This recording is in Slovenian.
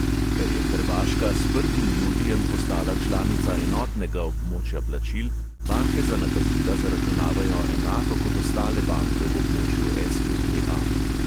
Ker je hrvaška s prvim julijem postala članica enotnega območja plačil, banke za nakazila zaračunavajo enako kot ostale banke v območju es|e|pe|a.